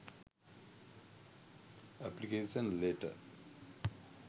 application letter